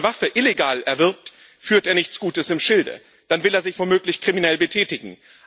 Wenn jemand eine Waffe illegal erwirbt führt er nichts Gutes im Schilde, dann will er sich womöglich kriminell betätigen.